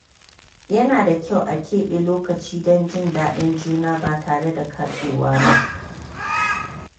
Yana da kyau a keɓe lokaci don jin daɗin juna ba tare da katsewa ba.